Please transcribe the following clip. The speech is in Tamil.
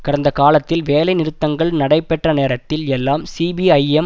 கடந்த காலத்தில் வேலை நிறுத்தங்கள் நடைபெற்ற நேரத்தில் எல்லாம் சிபிஐஎம்